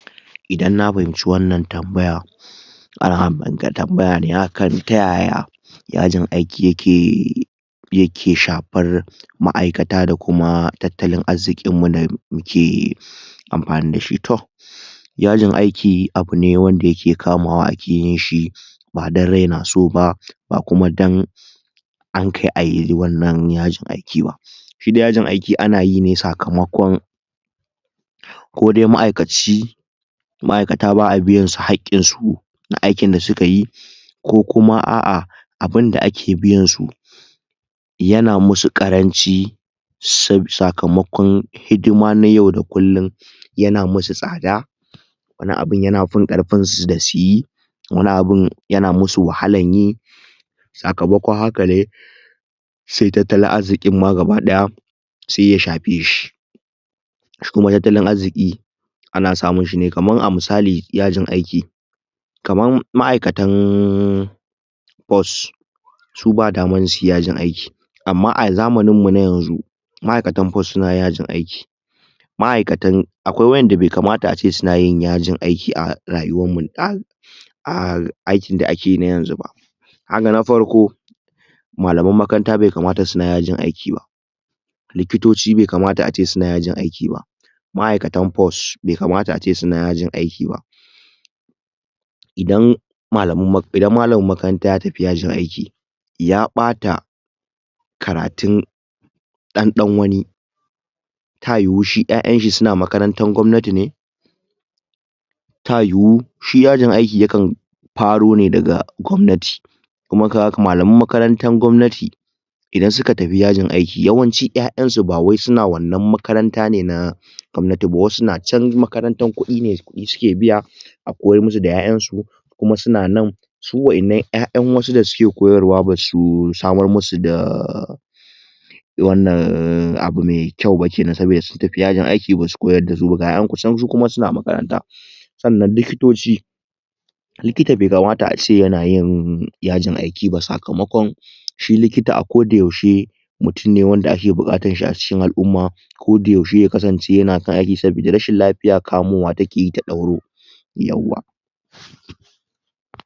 Idan na fahimci wannan tambaya ah akan tambayane taya yajin aiki yake yake shafar ma'aikata da kuma tattalin arzikin mu na dake amfani dashi to yajin aiki abune da yake kamawa ake yinshi ba dan rai naso ba, ba kuma dan ankai ayi wannan yajin aikin aba shi dai yajin aiki anayi ne sakamakon kodai ma'aikaci ma'aikata baa biyan su hakkin su na aikin da sukayi ko kuma a'a abinda ake biyansu yana masu karanci sakamakon hidima na yau da kullin yana masu tsada wani abun yana fin karfin suyi wani abun yana masu wahalan yi sakamakon haka ne sai tattalin arzikin ma gaba daya sai ya shafe shi shi kuma tattalin arziki ana samunshine kamar a misaliyajin aiki kamar ma'aikatan force su ba damar suyi yajin aiki amma a zamanin mu na yanzu ma'aikatan force suna yajin aiki ma'aikatan akwai wadanda bai kamata ace sunayin yajin aiki a rayuwa mu ah aikn da akeyi na yanzu ba gaga na farko malaman makaranta bai kamata suna yajin aiki bah likitoci bai kamata ace suna yajin aiki ba ma'aikatan force bai kamata ace suna yajin aiki ba idan malaman idan malamin makaranta ya tafi yajin aiki ya bata karatun dan dan wani ta yiwu shi yayan shi suna makarantan gwamnati ne ta yiwu shi yajin aiki yakan faro ne daga gwamnati kuma kaga malaman makarantan gwamnati idan suka tafi yajin aiki yawanci yayan su bawai suna wannan makaranta ne na gwamnaiti ba wasu na chan makarantar kudine kudi suke biya a koyar masu da yayan su kuma suna nan su wadannan yayan wasu da suke koyarwa basu samar masu da wannan abu mai kyau ba kenan saboda masu tafiya yajin aiki basu koyar dasu ba ga yayan su su kuma suna makaranta sannan likitoci likita bai kamata a yanayin yajin aiki ba sakamakon shi likita a koda yaushe mutum ne wanda ake bukatar shi a cikin al'umma koda yaushe ya kasance yana kan aiki sabida rashin lafiya kamowa take ta dauro yauwa